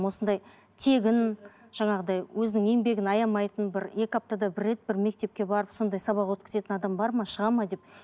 осындай тегін жаңағыдай өзінің еңбегін аямайтын бір екі аптада бір рет бір мектепке барып сондай сабақ өткізетін адам бар ма шығады ма деп